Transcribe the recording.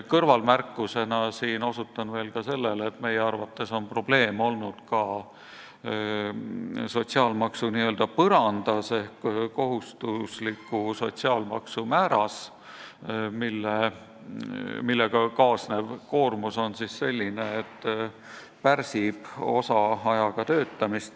Kõrvalmärkusena ütlen, et meie arvates on probleem olnud ka sotsiaalmaksu n-ö põrandas ehk kohustuslikus sotsiaalmaksu määras, millega kaasnev koormus on selline, et see pärsib osaajaga töötamist.